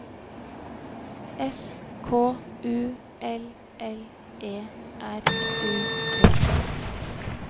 S K U L L E R U D